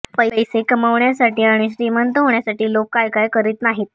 पैसे कमावण्यासाठी आणि श्रीमंत होण्यासाठी लोक काय काय करीत नाहीत